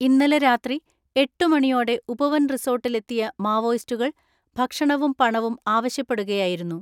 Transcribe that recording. ഇന്നലെ രാത്രി എട്ടുമണിയോടെ ഉപവൻ റിസോർട്ടിലെ ത്തിയ മാവോയിസ്റ്റുകൾ ഭക്ഷണവും പണവും ആവശ്യ പ്പെടുകയായിരുന്നു.